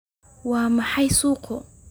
Waa maxay suuqu?